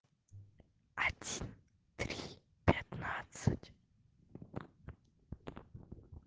один три пятнадцать